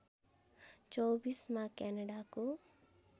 २४ मा क्यानडाको